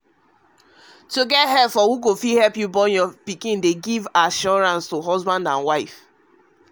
to dey try help to born pikin from people wey sabi dey give both husband and wife new assurance